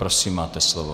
Prosím, máte slovo.